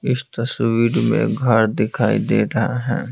इस तस्वीर में घर दिखाई दे रहा है।